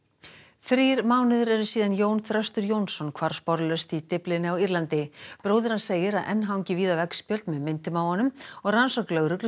þrír mánuðir eru síðan Jón Þröstur Jónsson hvarf sporlaust í Dyflinni á Írlandi bróðir hans segir að enn hangi víða veggspjöld með myndum af honum og rannsókn lögreglu